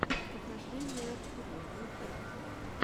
похождения артурия в ютубе